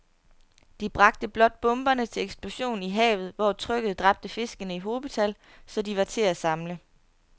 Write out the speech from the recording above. De bragte blot bomberne til eksplosion i havet, hvor trykket dræbte fiskene i hobetal, så de var til at samle